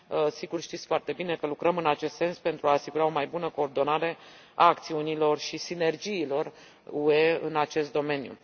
Sigur, știți foarte bine că lucrăm în acest sens pentru a asigura o mai bună coordonare a acțiunilor și sinergiilor UE în acest domeniu.